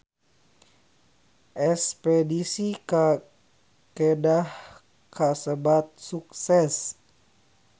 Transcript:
Espedisi ka Kedah kasebat sukses